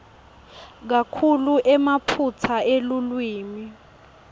kakhulu emaphutsa elulwimi